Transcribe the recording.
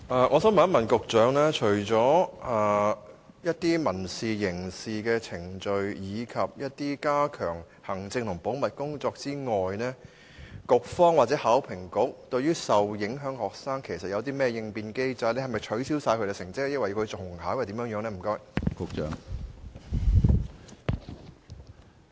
我想請問局長，除了民事、刑事程序，以及加強行政和保密工作外，局方或考評局對於受影響學生有甚麼應變機制，是否取消他們所有成績，要求他們重考，還是有其他措施？